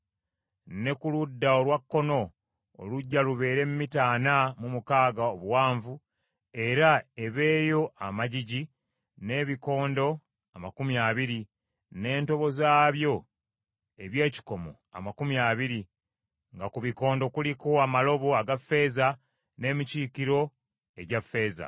Ne ku ludda olwakkono oluggya lubeere mita ana mu mukaaga obuwanvu, era ebeeyo amagigi n’ebikondo amakumi abiri, n’entobo zaabyo eby’ekikomo amakumi abiri, nga ku bikondo kuliko amalobo aga ffeeza n’emikiikiro egya ffeeza.